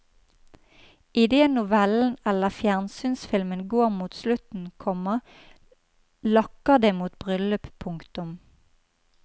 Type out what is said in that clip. Idet novellen eller fjernsynsfilmen går mot slutten, komma lakker det mot bryllyp. punktum